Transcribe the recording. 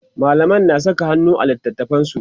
mallamin na Saka hannu a littatafansu